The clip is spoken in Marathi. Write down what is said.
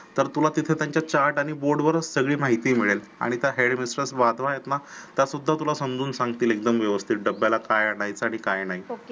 तर तुला तिथे त्यांच्या chart आणि board वरच सगळी माहिती मिळेल आणि त्या head mistress वाटवा आहेत ना त्या सुद्धा तुला समजावून सांगतील एकदम व्यवस्थित की डब्याला काय आणायच आणि काय नाही